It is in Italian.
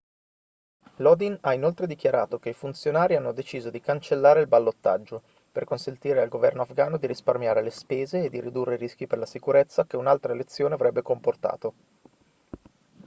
lodin ha inoltre dichiarato che i funzionari hanno deciso di cancellare il ballottaggio per consentire al governo afgano di risparmiare le spese e di ridurre i rischi per la sicurezza che un'altra elezione avrebbe comportato